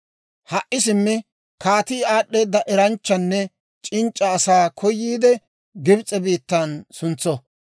«Ha"i simmi, kaatii aad'd'eeda eranchchanne c'inc'c'a asaa koyiide, Gibs'e biittan suntso.